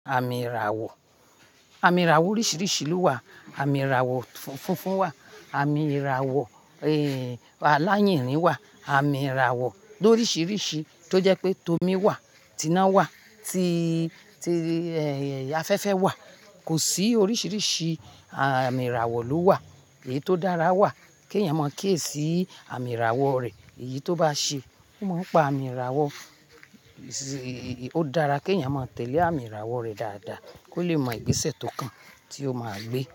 Àmì ìràwọ̀, àmì ìràwọ̀ oríṣiríṣi ló wà. Àmì ìràwọ̀ funfun wà, àmì ìràwọ̀, eh, àláyìnrin wà, àmì ìràwọ̀ ló oríṣiríṣi tó jẹ́ pé tomi wà, tiná wà, ti, ti, eh, afẹ́fẹ́ wà. Kò sí oríṣiríṣi àmì ìràwọ̀ ló wà, èyí tó dára wà kí ẹ̀yàn mọ̀ kí ẹ sí àmì ìràwọ̀ rẹ̀. Èyí tó bá ṣe, o máa ń pa àmì ìràwọ̀. O dára kí ẹ̀yàn máa tẹ̀lé àmì ìràwọ̀ rẹ̀ dáadáa kó lè mọ ìgbésẹ̀ tó kàn tí ó máa gbé.